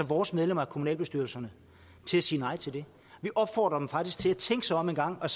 vores medlemmer af kommunalbestyrelserne til at sige nej til det vi opfordrer dem faktisk til at tænke sig om engang og